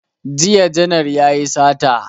Jiya janar yayi sata